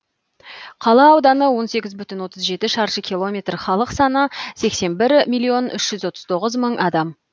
қала ауданы он сегіз бүтін отыз жетішаршы километр халық саны сексен бір миллион үш жүз отыз тоғыз мың адам